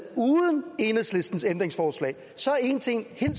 uden enhedslistens ændringsforslag så er én ting